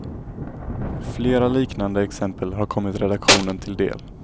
Flera liknande exempel har kommit redaktionen till del.